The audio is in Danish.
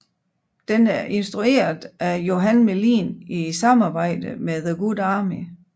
Den er instrueret af Johan Melin i samarbejde med the Good Army